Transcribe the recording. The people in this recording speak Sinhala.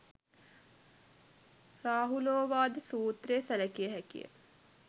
රාහුලෝවාද සූත්‍රය සැළකිය හැකිය.